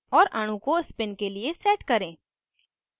और अणु को spin के लिए set करें